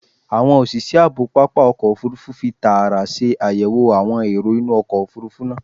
Awọn oṣiṣẹ aabo papa ọkọ ofurufu fi taara ṣe ayẹwo awọn ero inu ọkọ ofurufu naa